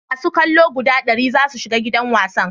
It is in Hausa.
masu kallo guda dari za su shiga gidan wasan